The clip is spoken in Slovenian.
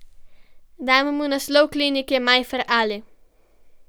Dam mu naslov klinike Majfer Ali.